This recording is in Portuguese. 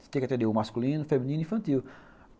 Você tem que atender o masculino, feminino e infantil.